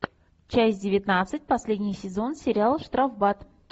часть девятнадцать последний сезон сериал штрафбат